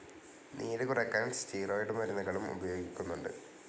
നീരു കുറക്കാൻ സ്റ്റിറോയ്ഡ്‌ മരുന്നുകളും ഉപയോഗിക്കുന്നുണ്ട്.